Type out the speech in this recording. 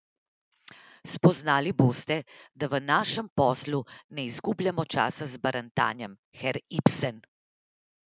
Spoznali boste, da v našem poslu ne izgubljamo časa z barantanjem, herr Ibsen.